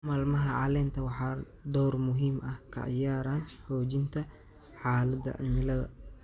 Maalmaha caleenta waxay door muhiim ah ka ciyaaraan xoojinta xaaladda cimilada.